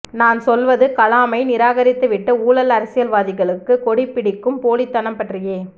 நான் சொல்வது கலாமை நிராகரித்துவிட்டு ஊழல் அரசியல்வாதிகளுக்கு கொடிபிடிக்கும் போலித்தனம் பற்றியே